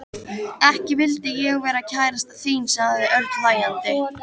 Ekki vildi ég vera kærastan þín sagði Örn hlæjandi.